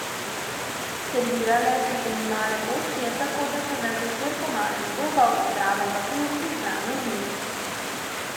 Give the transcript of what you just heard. Servirale so se male porcije, tako da sem ves večer po malem zobal, zraven pa pil izbrano vino.